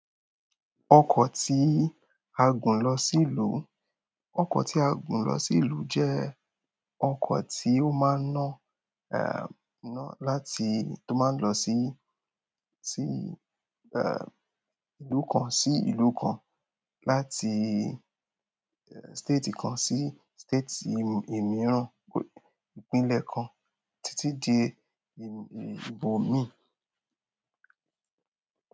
Ọkọ̀ tí a gùn lọ sí ìlú, ọkọ̀ tí a gùn lọ sí ìlú jẹ́ ọkọ̀ tí ó máa ń ná, eh, ná láti, tó máa ń lọ sí, sí, eh, ìlú kan sí ìlú kan, láti, eh, state kan sí state mìíràn, ìpínlẹ̀ kan títí di ìbòmí.